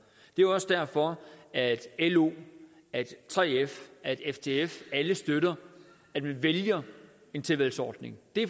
det er også derfor at lo at 3f at ftf alle støtter at vi vælger en tilvalgsordning det er